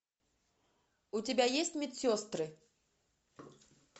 у тебя есть медсестры